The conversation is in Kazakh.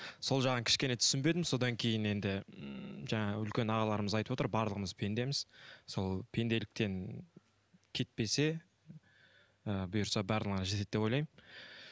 сол жағын кішкене түсінбедім содан кейін енді м жаңағы үлкен ағаларымыз айтып отыр барлығымыз пендеміз сол пенделіктен кетпесе ы бұйырса барлығына жетеді деп ойлаймын